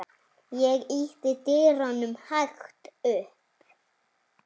Ég ýtti dyrunum hægt upp.